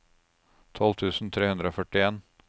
tolv tusen tre hundre og førtien